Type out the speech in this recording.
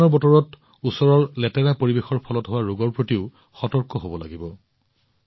আমি বৰষুণৰ বতৰত ওচৰৰ লেতেৰাৰ ফলত হোৱা ৰোগৰ প্ৰতিও সাৱধান হব লাগিব